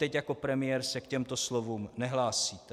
Teď jako premiér se k těmto slovům nehlásíte.